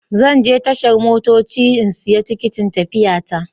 Zan je tashar motoci in siya tikitin tafiya ta.